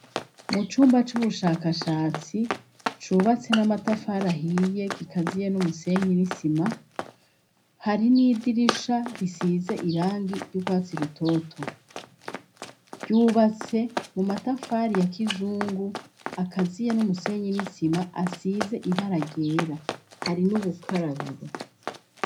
Mu cumba c'ubushakashatsi cubatse n'amatafari ahiye gikaziye n'umusenyi n'isima, hari n'idirisha risize irangi ry'urwatsi rutoto. Ryubatse mu matafari ya kizungu, akaziye n'umusenyi n'isima, asize ibara ryera. Hari n'ubukarabiro.